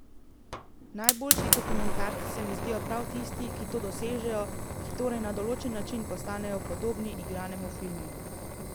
Najboljši dokumentarci se mi zdijo prav tisti, ki to dosežejo, ki torej na določen način postanejo podobni igranemu filmu.